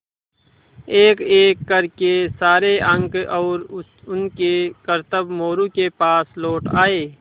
एकएक कर के सारे अंक और उनके करतब मोरू के पास लौट आये